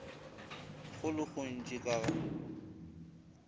go le gontši ka ga